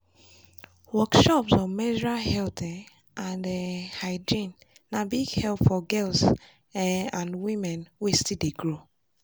workshops on menstrual health um and um hygiene na big help for girls um and women wey still dey grow.